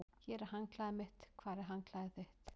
Hér er handklæðið mitt. Hvar er handklæðið þitt?